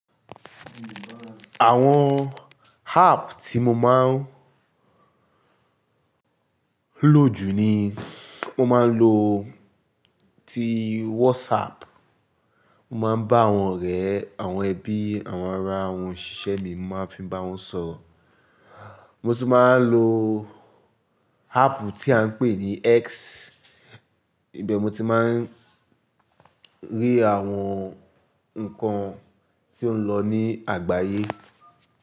Àwọn app tí mo máa ń lò jù ni mo máa ń lo ti WhatsApp, mo máa ń bá àwọn ọ̀rẹ́, àwọn ẹbí, àwọn ará, àwọn òṣìṣẹ́ mi, mo máa ń fi n bá wọn sọ̀rọ̀. Mo tun máa ń lo app tí a ń pè ní X, ibẹ̀ mo ti máa ń rí àwọn nǹkan tí ó ń lọ ní àgbáyé.